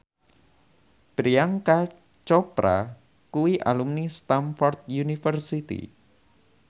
Priyanka Chopra kuwi alumni Stamford University